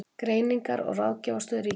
Greiningar- og ráðgjafarstöð ríkisins.